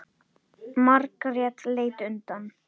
Margrét leit undan.